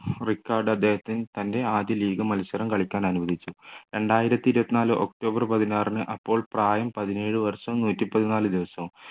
record അദ്ദേഹത്തിൻ്റെ ആദ്യ league മത്സരം കളിക്കാൻ അനുവദിച്ചു രണ്ടായിരത്തി ഇരുപത്തിനാല് ഒക്ടോബർ പതിനാറിന് അപ്പോൾ പ്രായം പതിനേഴു വർഷം നൂറ്റി പതിനാല് ദിവസം